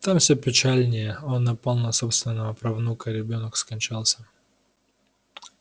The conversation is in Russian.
там всё печальнее он напал на собственного правнука ребёнок скончался